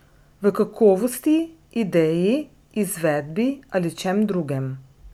V kakovosti, ideji, izvedbi ali čem drugem.